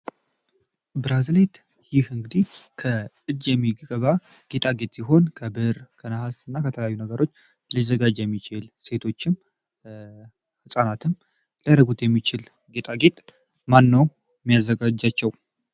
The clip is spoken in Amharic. ብራዚል ከእጄ ነገሮች ሊዘጋጅ የሚችል ሴቶችም ህጻናትም የሚችል ጌጣጌጥ ማን ነው